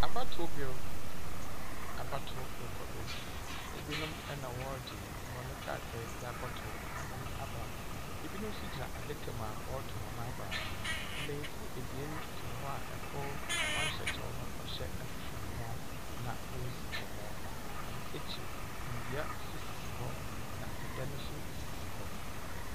Abatoɔ ber. Abatow rokɔ do. Ebinom na wɔregye hɔn kratae dze akɔtow hɔn aba, ibinom nso gyina adaka mu a wɔreto hɔn aba. Mbenyimfo ebien gyina hɔ a kor ɔnhyɛ kyɛw na ɔhyɛ ahwehwɛniwa na oridzi nkɔmbɔ. Ɔno ekyir, ndua nso sisi hɔ, na dan nso sisi hɔ.